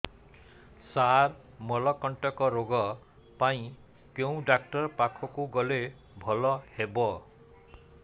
ସାର ମଳକଣ୍ଟକ ରୋଗ ପାଇଁ କେଉଁ ଡକ୍ଟର ପାଖକୁ ଗଲେ ଭଲ ହେବ